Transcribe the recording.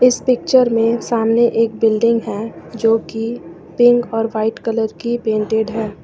इस पिक्चर में सामने एक बिल्डिंग है जो की पिंक और वाइट कलर की प्रिंटेड है।